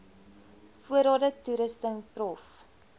voorrade toerusting prof